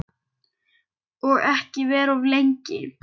Og ekki vera of lengi.